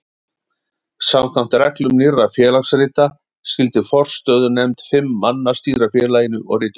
Samkvæmt reglum Nýrra félagsrita skyldi forstöðunefnd fimm manna stýra félaginu og ritum þess.